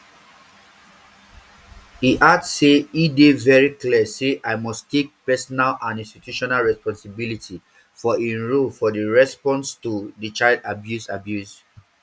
e add say e dey very clear say i must take personal and institutional responsibility for im role for di response to di abuse abuse